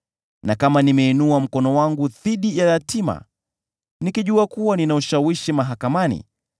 na kama nimeinua mkono wangu dhidi ya yatima, nikijua kuwa nina ushawishi mahakamani,